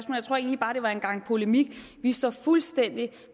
det var en gang polemik vi står fuldstændig